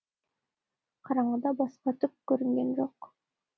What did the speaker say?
қараңғыда басқа түк көрген жоқ